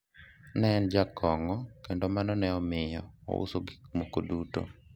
ne en jakong'o kendo mano ne omiyo ouso gik moko duto